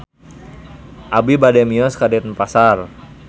Abi bade mios ka Denpasar